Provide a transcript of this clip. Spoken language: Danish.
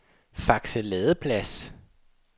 Fakse Ladeplads